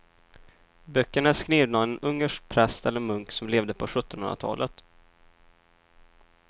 Böckerna är skrivna av en ungersk präst eller munk som levde på sjuttonhundratalet.